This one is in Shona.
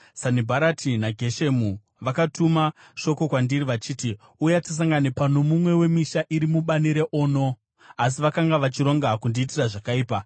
Sanibharati naGeshemu vakatuma shoko kwandiri vachiti, “Uya tisangane pano mumwe wemisha iri mubani reOno.” Asi vakanga vachironga kundiitira zvakaipa.